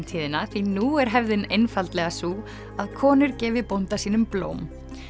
tíðina því nú er hefðin einfaldlega sú að konur gefi bónda sínum blóm